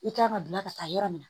I kan ka gilan ka taa yɔrɔ min na